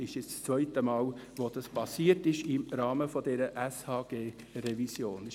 Es ist jetzt das zweite Mal, dass dergleichen im Rahmen der SHG-Revision geschehen ist.